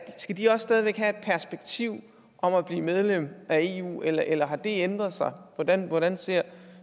de også stadig væk have et perspektiv om at blive medlem af eu eller eller har det ændret sig hvordan hvordan ser